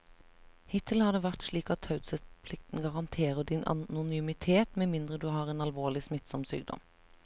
Hittil har det vært slik at taushetsplikten garanterer din anonymitet med mindre du har en alvorlig, smittsom sykdom.